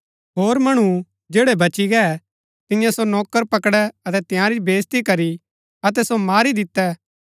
होर मणु जैड़ै बची गै तिन्यै सो नौकर पकड़ै अतै तंयारी बेईज्ती करी अतै सो मारी दितै